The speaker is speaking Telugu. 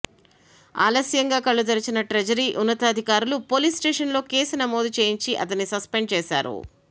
ఆలస్యంగా కళ్లు తెరిచిన ట్రెజరీ ఉన్నతాధికారులు పోలీస్ స్టేషన్లో కేసు నమోదు చేయించి అతన్ని సస్పెండ్ చేశారు